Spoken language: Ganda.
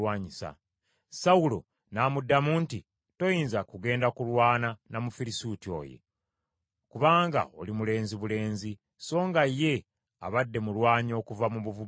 Sawulo n’amuddamu nti, “Toyinza kugenda kulwana na Mufirisuuti oyo; kubanga oli mulenzi bulenzi, songa ye abadde mulwanyi okuva mu buvubuka bwe.”